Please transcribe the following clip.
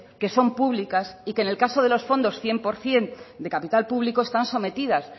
que son públicas y que en el caso de los fondos cien por ciento de capital público están sometidas